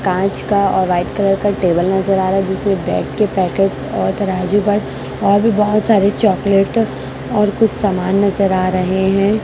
कांच का और वाइट कलर का टेबल नजर आ रहा है जिसमें ब्रेड के पैकेट और तराजू पर और भी बहुत सारे चॉकलेट और कुछ सामान नजर आ रहे हैं।